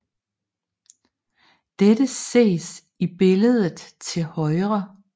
Dette ses i billedet til højre